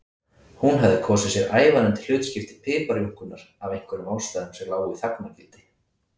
Hún hafði kosið sér ævarandi hlutskipti piparjúnkunnar af einhverjum ástæðum sem lágu í þagnargildi.